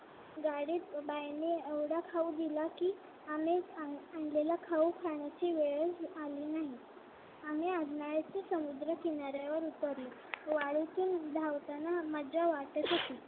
गाडीत बाईंनी एवढा खाऊ दिला की आम्ही आणलेला खाऊ खाण्याची वेळच आली नाही आम्ही समुद्रकिनाऱ्यावर उतरलो वाळूतून धावताना मज्जा वाटत होती